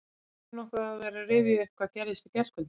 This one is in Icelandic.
Eigum við nokkuð að vera að rifja upp það sem gerðist í gærkvöldi?